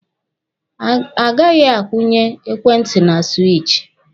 A gaghị a kwụnye ekwentị na siwichi.